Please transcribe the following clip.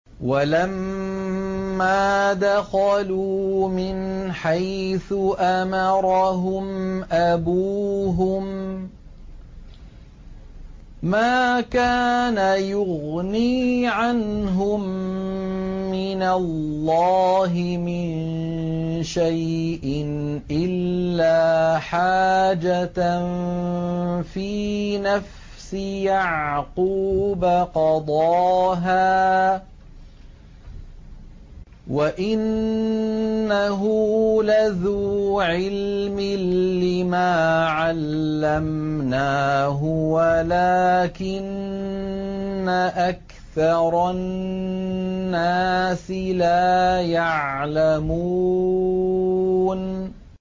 وَلَمَّا دَخَلُوا مِنْ حَيْثُ أَمَرَهُمْ أَبُوهُم مَّا كَانَ يُغْنِي عَنْهُم مِّنَ اللَّهِ مِن شَيْءٍ إِلَّا حَاجَةً فِي نَفْسِ يَعْقُوبَ قَضَاهَا ۚ وَإِنَّهُ لَذُو عِلْمٍ لِّمَا عَلَّمْنَاهُ وَلَٰكِنَّ أَكْثَرَ النَّاسِ لَا يَعْلَمُونَ